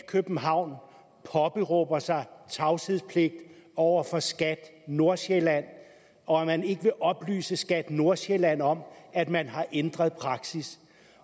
københavn påberåber sig tavshedspligt over for skat nordsjælland og at man ikke vil oplyse skat nordsjælland om at man har ændret praksis